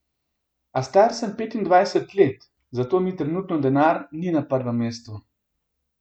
A star sem petindvajset let, zato mi trenutno denar ni na prvem mestu.